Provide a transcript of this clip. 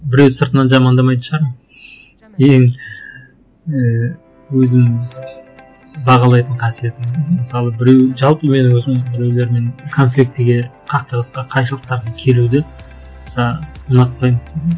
біреуді сыртынан жамандамайтын шығармын и ііі өзімнің бағалайтын қасиетім мхм мысалы біреу жалпы менің өзім біреулермен конфликтіге қақтығысқа қайшылықтарды келуді аса ұнатпаймын